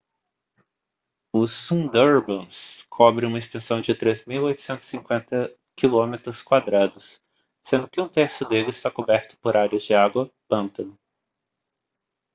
o sundarbans cobre uma extensão de 3.850 km² sendo que um terço dele está coberto por áreas de água/pântano